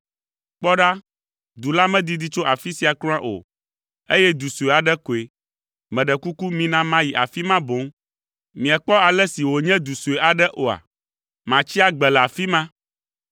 Kpɔ ɖa, du la medidi tso afi sia kura o, eye du sue aɖe koe. Meɖe kuku mina mayi afi ma boŋ. Miekpɔ ale si wònye du sue aɖe oa? Matsi agbe le afi ma.”